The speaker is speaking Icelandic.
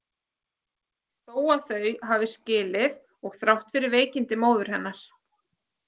Þó að þau hafi skilið og þrátt fyrir veikindi móður hennar.